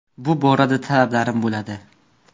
Bu borada talablarim bo‘ladi.